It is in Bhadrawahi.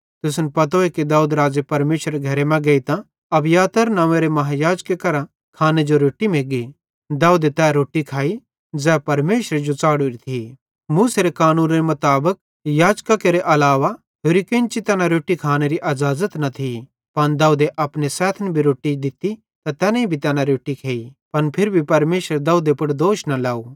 तुसन पतोए कि दाऊद राज़े परमेशरेरे घरे मां गेइतां अबियातार नंव्वेरे महायाजक करां खाने जो रोट्टी मग्गी दाऊदे तै रोट्टी खाइ ज़ै परमेशरे जो च़ढ़ोरी थी कानूनेरे मुताबिक याजक केरे अलावा होरि केन्ची तैना रोट्टी खानेरी अज़ाज़त नईं थी पन दाऊदे अपने सैथन भी रोट्टी दित्ती त तैनेईं भी तैना रोट्टी खेइ पन फिरी भी परमेशरे दाऊदे पुड़ दोष न लाव